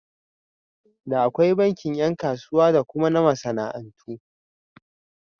Da akwai bankin ƴan kasuwa da kuma na masana'antu.